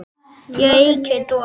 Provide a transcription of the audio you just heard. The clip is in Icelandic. Hér ríkir doði.